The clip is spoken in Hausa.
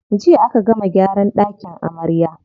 Jiya aka gama gyaran ɗakin amarya.